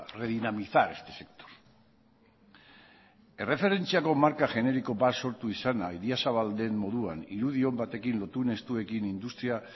redinamizar este sector erreferentziako marka generiko bat sortu izana idiazabal den moduan irudi on batekin lotune estuekin industria